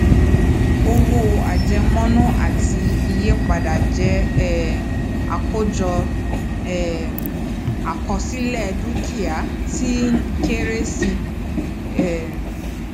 owó àjemọnú àti iye padà jẹ um àákọjọ um àkọsílẹ dúkìá tí ń kéré sí i um